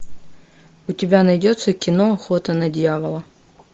у тебя найдется кино охота на дьявола